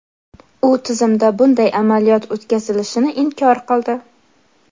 U tizimda bunday amaliyot o‘tkazilishini inkor qildi.